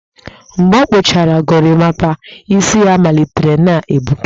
Mgbe ọ kpụchara gorimapa, isi ya malitere na-egbuke